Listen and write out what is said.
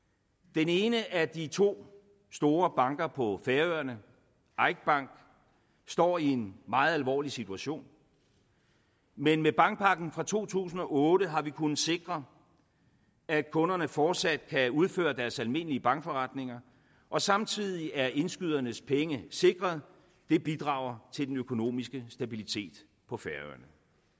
den ene af de to store banker på færøerne eik bank står i en meget alvorlig situation men med bankpakken fra to tusind og otte har vi kunnet sikre at kunderne fortsat kan udføre deres almindelige bankforretninger og samtidig er indskydernes penge sikret det bidrager til den økonomiske stabilitet på færøerne